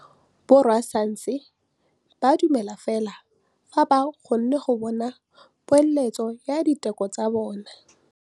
Borra saense ba dumela fela fa ba kgonne go bona poeletsô ya diteko tsa bone.